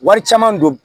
Wari caman don